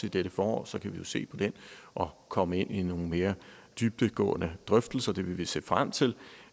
i dette forår så kan vi jo se på den og komme ind i nogle mere dybdegående drøftelser hvilket vi vil se frem til